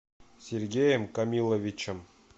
сергеем камиловичем